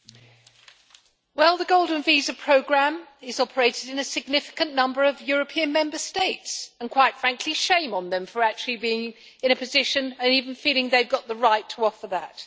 Mr President, the golden visa programme is operated in a significant number of European Member States, and quite frankly, shame on them for actually being in a position and even feeling they have got the right to offer that.